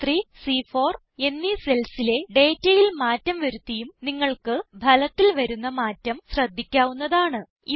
സി3 C4 എന്നീ cellsലെ ഡേറ്റയിൽ മാറ്റം വരുത്തിയും നിങ്ങൾക്ക് ഫലത്തിൽ വരുന്ന മാറ്റം ശ്രദ്ധിക്കാവുന്നതാണ്